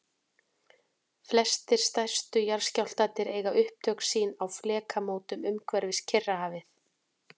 flestir stærstu jarðskjálftarnir eiga upptök sín á flekamótum umhverfis kyrrahafið